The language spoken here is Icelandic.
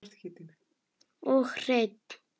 Og hreinn!